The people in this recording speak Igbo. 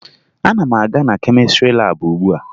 Ana m aga na kemịstrị laabụ ugbua